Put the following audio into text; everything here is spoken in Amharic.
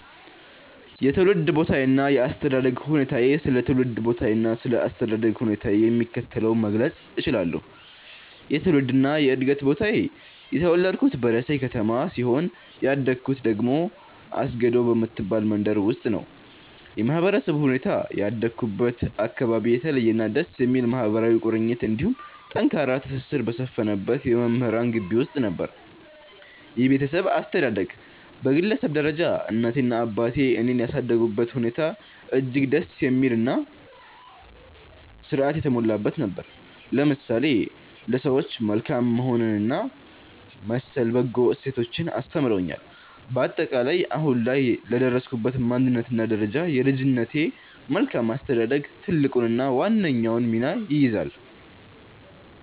የትውልድ ቦታዬና የአስተዳደግ ሁኔታዬ ስለ ትውልድ ቦታዬና ስለ አስተዳደግ ሁኔታዬ የሚከተለውን መግለጽ እችላለሁ፦ የትውልድና የዕድገት ቦታዬ፦ የተወለድኩት በደሴ ከተማ ሲሆን፣ ያደግኩት ደግሞ አስገዶ በምትባል መንደር ውስጥ ነው። የማህበረሰቡ ሁኔታ፦ ያደግኩበት አካባቢ የተለየና ደስ የሚል ማህበራዊ ቁርኝት እንዲሁም ጠንካራ ትስስር በሰፈነበት የመምህራን ግቢ ውስጥ ነበር። የቤተሰብ አስተዳደግ፦ በግለሰብ ደረጃ እናቴና አባቴ እኔን ያሳደጉበት ሁኔታ እጅግ ደስ የሚልና ሥርዓት የተሞላበት ነበር፤ ለምሳሌ ለሰዎች መልካም መሆንንና መሰል በጎ እሴቶችን አስተምረውኛል። ባጠቃላይ፦ አሁን ላይ ለደረስኩበት ማንነትና ደረጃ የልጅነቴ መልካም አስተዳደግ ትልቁንና ዋነኛውን ሚና ይይዛል።